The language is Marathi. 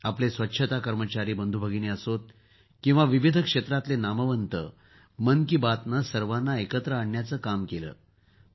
आपले स्वच्छता कर्मचारी बंधूभगिनी असोत किंवा विविध क्षेत्रातील नामवंत मन की बातने सर्वांना एकत्र आणण्याचे काम केले आहे